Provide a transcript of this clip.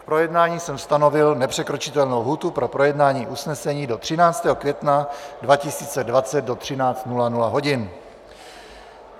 K projednání jsem stanovil nepřekročitelnou lhůtu pro projednání usnesení do 13. května 2020 do 13.00 hodin.